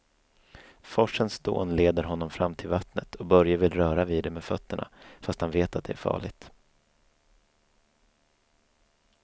Forsens dån leder honom fram till vattnet och Börje vill röra vid det med fötterna, fast han vet att det är farligt.